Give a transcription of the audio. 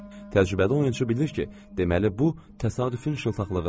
Təcrübədə oyunçu bilir ki, deməli bu təsadüfün şıltaqlığıdır.